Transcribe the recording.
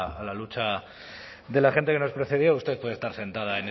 a la lucha de la gente que nos precedió usted puede estar sentada